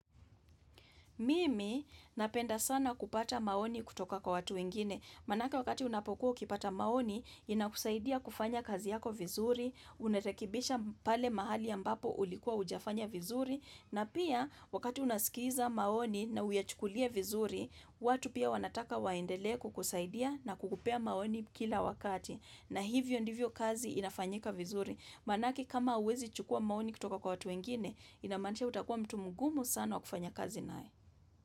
Mimi napenda sana kupata maoni kutoka kwa watu wengine, maanake wakati unapokuwa ukipata maoni, inakusaidia kufanya kazi yako vizuri, unarekebisha pale mahali ambapo ulikuwa hujafanya vizuri, na pia wakati unasikiza maoni na uyachukulie vizuri, watu pia wanataka waendelee kukusaidia na kukupea maoni kila wakati, na hivyo ndivyo kazi inafanyika vizuri. Maanake kama huwezi chukuwa maoni kutoka kwa watu wengine, ina maanisha utakuwa mtu mgumu sana wa kufanya kazi nae.